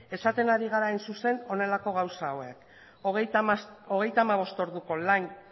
esaten ari gera hain zuzen honelako gauza hauek hogeita hamabost orduko lan